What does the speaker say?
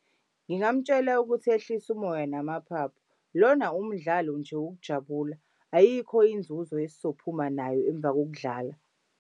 Ngingamtshela ukuthi ehlise umoya namaphaphu, lona umdlalo nje wokujabula. Ayikho inzuzo esizophuma nayo emva kokudlala.